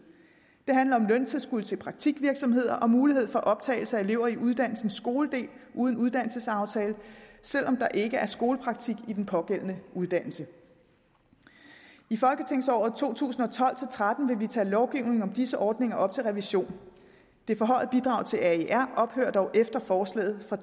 det handler om løntilskud til praktikvirksomheder og mulighed for optagelse af elever i uddannelsens skoledel uden uddannelsesaftale selv om der ikke er skolepraktik i den pågældende uddannelse i folketingsåret to tusind og tolv til tretten vil vi tage lovgivningen om disse ordninger op til revision det forhøjede bidrag til aer ophører dog efter forslaget fra